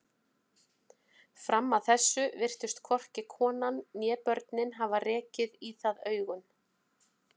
Fram að þessu virtust hvorki konan né börnin hafa rekið í það augun.